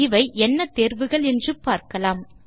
இவை என்ன தேர்வுகள் என்று பார்க்கலாம்